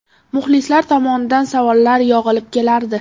Muxlislar tomonidan savollar yog‘ilib kelardi.